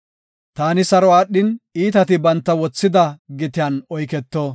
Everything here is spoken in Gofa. Taani saro aadhin, iitati banta wothida gitiyan oyketo.